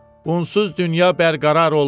Unsuz dünya bərqərar olmaz.